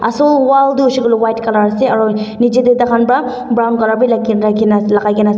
so wall tu hoise koile white colour ase niche te tar khan para brown colour bhi lagai kina ase.